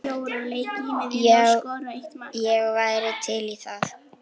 Já, ég væri til í það.